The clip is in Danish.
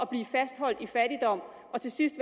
bliver fastholdt i fattigdom og til sidst